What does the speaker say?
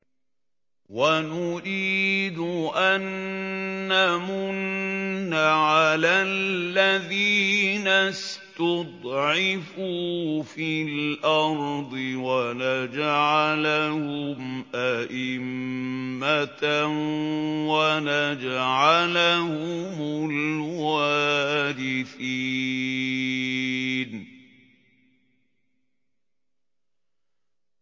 وَنُرِيدُ أَن نَّمُنَّ عَلَى الَّذِينَ اسْتُضْعِفُوا فِي الْأَرْضِ وَنَجْعَلَهُمْ أَئِمَّةً وَنَجْعَلَهُمُ الْوَارِثِينَ